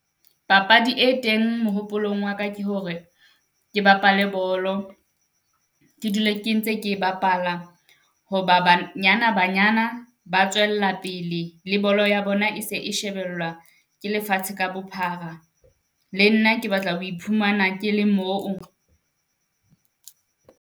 Papadi e teng mehopolong wa ka, ke hore ke bapale bolo, ke dula ke ntse ke e bapala. Ho ba Banyana-Banyana ba tswella pele, le bolo ya bona e se e shebellwa ke lefatshe ka bophara. Le nna ke batla ho iphumana ke le moo.